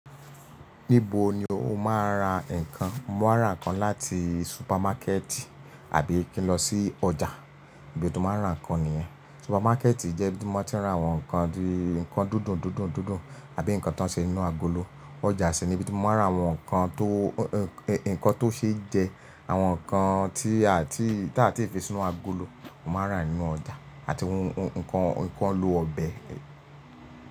Níbo ni o máa ń ra nǹkan? Mo máa ń rà nǹkan láti supermarketi, àbí kí n lọ sí ọjà. Ibi tí mo máa ń rà nǹkan nìyẹn. Supermarketi jẹ́ ibi tí mo ma ti ń ra àwọn nǹkan dúdún dúndún dundun, tàbí nǹkan tó ń ṣe ninú agolo. Ọjà sì ni ibi tí mo máa ń ra àwọn nǹkan tó ṣe jẹ, àwọn nǹkan tí a a ti fi sí inú agolo, mo máa rà nínú ọjà àti nǹkan lo ọbẹ̀